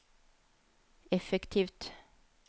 effektivt